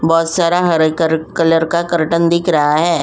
बहोत सारा हर रंग कलर का कर्टन दिख रहा है।